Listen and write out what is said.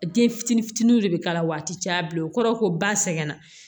Den fitini fitini de bi k'a la wa a ti caya bilen o kɔrɔ ko ba sɛgɛn na